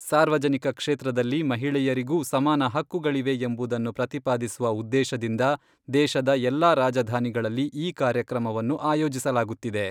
ಸಾರ್ವಜನಿಕ ಕ್ಷೇತ್ರದಲ್ಲಿ ಮಹಿಳೆಯರಿಗೂ ಸಮಾನ ಹಕ್ಕುಗಳಿವೆ ಎಂಬುದನ್ನು ಪ್ರತಿಪಾದಿಸುವ ಉದ್ದೇಶದಿಂದ ದೇಶದ ಎಲ್ಲಾ ರಾಜಧಾನಿಗಳಲ್ಲಿ ಈ ಕಾರ್ಯಕ್ರಮವನ್ನು ಆಯೋಜಿಸಲಾಗುತ್ತಿದೆ.